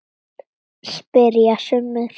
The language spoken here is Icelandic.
spyrja sumir.